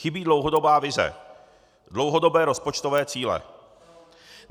Chybí dlouhodobá vize, dlouhodobé rozpočtové cíle.